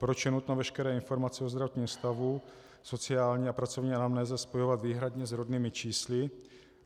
Proč je nutno veškeré informace o zdravotním stavu, sociální a pracovní anamnéze spojovat výhradně s rodnými čísly?